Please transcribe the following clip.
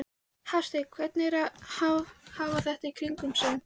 Hafsteinn: Hvernig er að hafa þetta í kringum sig?